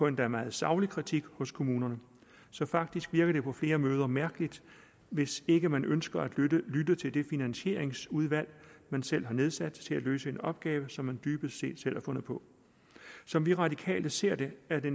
endda meget saglig kritik hos kommunerne så faktisk virker det på flere måder mærkeligt hvis ikke man ønsker at lytte til det finansieringsudvalg man selv har nedsat til at løse en opgave som man dybest set selv har fundet på som de radikale ser det er det